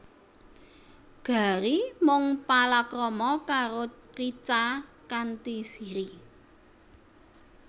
Gary mung palakrama karo Richa kanthi Siri